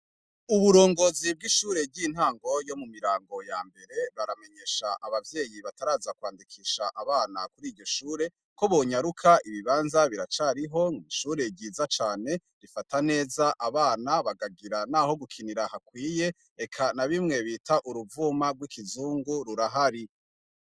Uburongozi bw'ishure ry'intangoyo mu mirango ya mbere baramenyesha abavyeyi bataraza kwandikisha abana kuri iryo shure ko bonyaruka ibibanza biracariho nw'ishure ryiza cane rifata neza abana bagagira, naho gukinira hakwiye eka na bimwe bita uruvuma rw'ikizungu rurahari i.